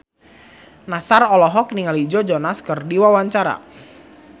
Nassar olohok ningali Joe Jonas keur diwawancara